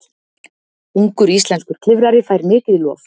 Ungur íslenskur klifrari fær mikið lof